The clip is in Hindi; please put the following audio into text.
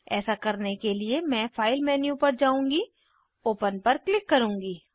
ऐसा करने के लिए मैं फाइल मेन्यू पर जाउंगी ओपन पर क्लिक करुँगी